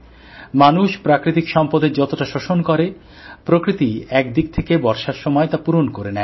মানুষ প্রাকৃতিক সম্পদের যতটা শোষণ করে প্রকৃতি একদিক থেকে বর্ষার সময় তা পূরণ করে নেয়